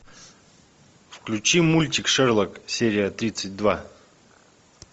включи мультик шерлок серия тридцать два